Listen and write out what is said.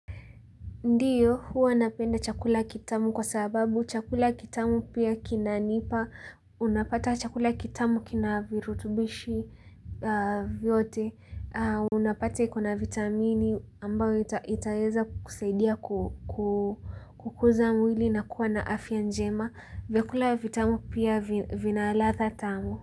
Ndiyo, huwa napenda chakula kitamu kwa sababu, chakula kitamu pia kinanipa, unapata chakula kitamu kina virutubishi vyote, unapata ikona vitamini ambayo itaweza kusaidia ku kukuza mwili na kuwa na afya njema, vyakula vitamu pia, vina ladha tamu.